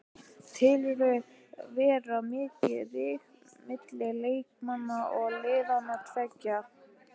Telurðu vera mikinn ríg milli leikmanna liðanna tveggja?